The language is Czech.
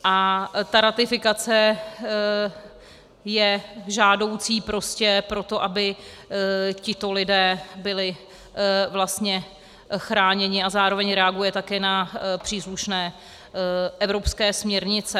A ta ratifikace je žádoucí prostě proto, aby tito lidé byli vlastně chráněni, a zároveň reaguje taky na příslušné evropské směrnice.